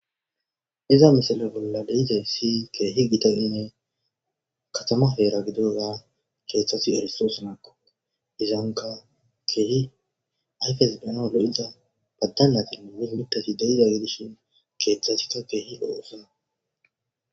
Iza misale bolla dizay si keehi gitaine katama heera gidoga keeththasi eristoosanakko izanka keehi ayfes benalo'iza baddannatinne mihmitasi deida gidishin keeththasikka keehi oosana.